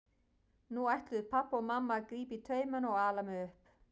Nú ætluðu pabbi og mamma að grípa í taumana og ala mig upp.